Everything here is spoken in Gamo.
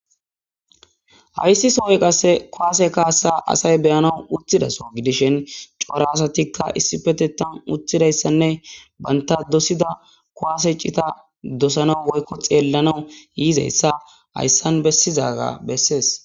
Hayssi sohoy qasse kuwaase kaasa asay be7ana utthidaso gidishen cora asatikka issipetettan utthidayssanne banta dosida kuwaase cita dosana woykko xeellanawu yiizayssa hayssan bessizaga bessees.